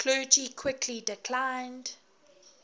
clergy quickly declined